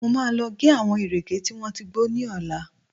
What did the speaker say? Mo máa lọ gé àwọn ìrèké tí wọ́n ti gbó ní ọ̀la